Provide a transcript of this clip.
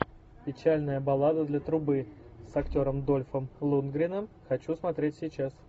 печальная баллада для трубы с актером дольфом лундгреном хочу смотреть сейчас